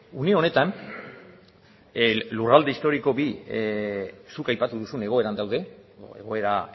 une honetan lurralde historiko bi zuk aipatu duzun egoeran daude egoera